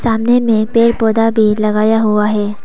सामने में पेड़ पौधा भी लगाया हुआ है।